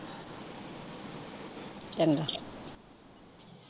ਚੰਗਾ।